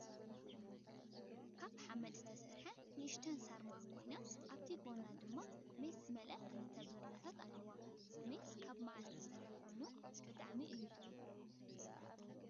ካብ ሓመድ ዝተሰርሐት ንእሽተይ ሳርማ ኮይና ኣብቲ ጎና ድማ ማስ ዝመለኣ ክልተ ብርለታት ኣለዋ። ማስ ካበ ማዓር ዝስራሕ ኮይኑ ብጣዕሚ እዩ ጥዑም።